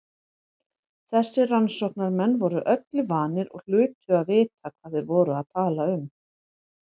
Þessir rannsóknarmenn voru öllu vanir og hlutu að vita hvað þeir voru að tala um.